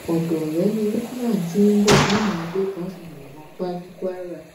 ọdọ ọrẹ ni lukman ti ń bọ táwọn agbébọn fi yìnbọn pa á ní kwara